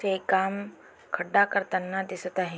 हे काम खड्डा करताना दिसत आहे.